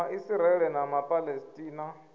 ma israele na ma palesitina